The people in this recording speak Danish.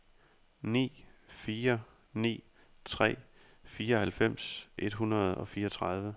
ni fire ni tre fireoghalvfems et hundrede og fireogtredive